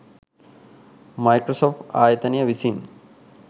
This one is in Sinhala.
මයික්‍රසොෆ්ට් ආයතනය විසින්